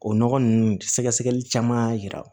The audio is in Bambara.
O nɔgɔ ninnu sɛgɛsɛgɛli caman y'a yira